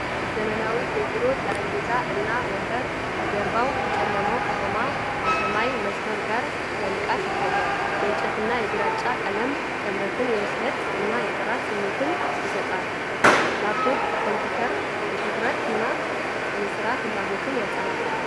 ዘመናዊ የቢሮ ጠረጴዛ እና ወንበር ከጀርባው ከጨለማው ከተማ የሰማይ መስመር ጋር በንቃት ይታያል። የእንጨትና የግራጫ ቀለም ጥምረት የብስለት እና የጥራት ስሜትን ሲሰጥ፤ ላፕቶፕ ኮምፒውተሩ የትኩረትና የሥራ ፍላጎትን ያንጸባርቃል።